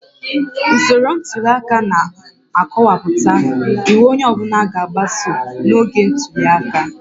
Usoro ntuli aka na-akọwapụta iwu onye ọ bụla ga-agbaso n'oge ntuli aka